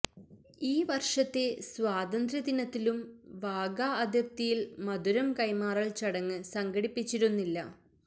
ഈ വർഷത്തെ സ്വാതന്ത്ര്യദിനത്തിലും വാഗാ അതിർത്തിയിൽ മധുരം കൈമാറൽ ചടങ്ങ് സംഘടിപ്പിച്ചിരുന്നില്ല